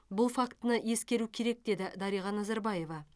бұл фактіні ескеру керек деді дариға назарбаева